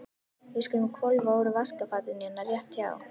Við skulum hvolfa úr vaskafatinu hérna rétt hjá.